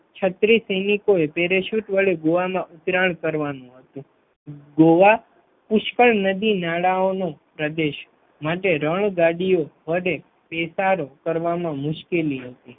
છત્રીસ સૈનિકો એ પેરાસુટ વડે ગોવામાં ઉતરાણ કરવાનું હતું ગોવા પુષ્કળ નદી નાળાઓનું પ્રદેશ માટે રણ ગાડીઓ વડે સારું કરવામાં મુશ્કેલી હતી